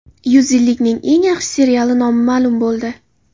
Yuz yillikning eng yaxshi seriali nomi ma’lum bo‘ldi.